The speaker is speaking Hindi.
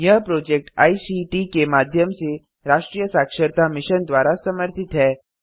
यह प्रोजेक्ट आईसीटी के माध्यम से राष्ट्रीय साक्षरता मिशन द्वारा समर्थित है